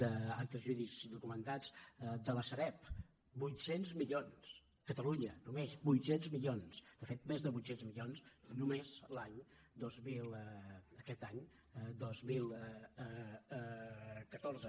d’actes jurídics documentats de la sareb vuitcents milions catalunya només vuit cents milions de fet més de vuit cents milions només aquest any dos mil catorze